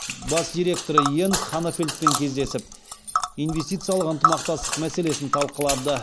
бас директоры йенс ханефельдпен кездесіп инвестициялық ынтымақтастық мәселесін талқылады